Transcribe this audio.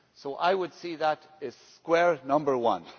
So I would see that as square number one.